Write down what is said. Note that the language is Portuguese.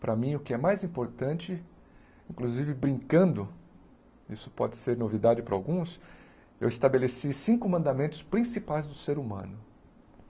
Para mim, o que é mais importante, inclusive brincando, isso pode ser novidade para alguns, eu estabeleci cinco mandamentos principais do ser humano.